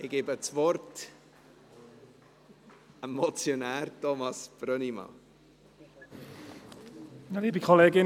Ich gebe das Wort dem Motionär, Thomas Brönnimann.